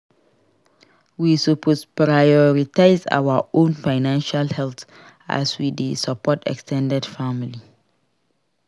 We suppose prioritize our own financial health as we dey support ex ten ded family.